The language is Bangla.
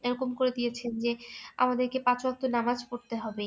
এরকম করে দিয়েছেন যে আমদের কে পাঁচবার তো নামাজ পরতে হবে